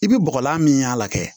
I bɛ bɔgɔlan min y'a la kɛ